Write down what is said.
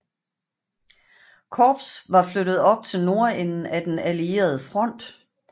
Korps var flyttet op til nordenden af den allierede front